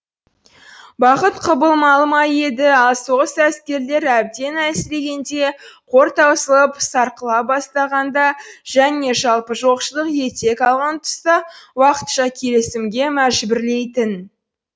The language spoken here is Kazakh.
бақыт құбылмалы ма еді ал соғыс әскерлер әбден әлсірегенде қор таусылып сарқыла бастағанда және жалпы жоқшылық етек алған тұста уақытша келісімге мәжбүрлейтін